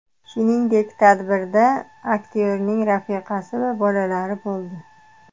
Shuningdek, tadbirda aktyorning rafiqasi va bolalari bo‘ldi.